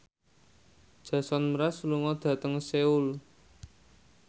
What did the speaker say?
Jason Mraz lunga dhateng Seoul